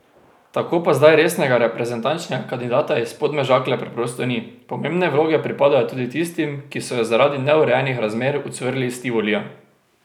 Tako pa zdaj resnega reprezentančnega kandidata iz Podmežakle preprosto ni, pomembne vloge pripadajo tudi tistim, ki so jo zaradi neurejenih razmer ucvrli iz Tivolija.